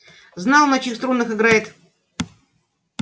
знал на чьих струнах играет